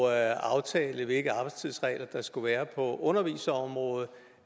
at aftale hvilke arbejdstidsregler der skulle være på underviserområdet